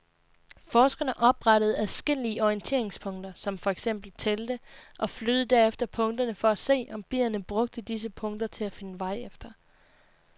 Forskerne oprettede adskillige orienteringspunkter, som for eksempel telte, og flyttede derefter punkterne for at se, om bierne brugte disse punkter til at finde vej efter.